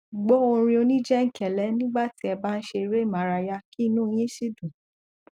gbọ orin oníjẹlẹńkẹ nígbà tí ẹ bá ń ṣe eré ìmárayá kí inú yín sì dùn